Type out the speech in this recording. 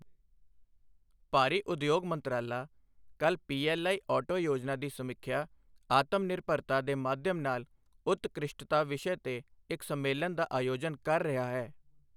ਭਾਰੀ ਉਦਯੋਗ ਮੰਤਰਾਲਾ ਕੱਲ੍ਹ ਪੀਐੱਲਆਈ ਔਟੋ ਯੋਜਨਾ ਦੀ ਸਮੀਖਿਆ ਆਤਮਨਿਰਭਰਤਾ ਦੇ ਮਾਧਿਅਮ ਨਾਲ ਉਤਕ੍ਰਿਸ਼ਟਤਾ ਵਿਸ਼ੇ ਤੇ ਇੱਕ ਸੰਮੇਲਨ ਦਾ ਆਯੋਜਨ ਕਰ ਰਿਹਾ ਹੈ